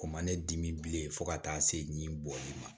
O man ne dimi bilen fo ka taa se nin bɔli ma